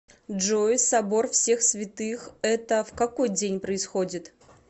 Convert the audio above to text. джой собор всех святых это в какой день происходит